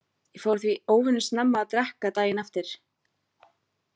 Ég fór því óvenju snemma að drekka daginn eftir.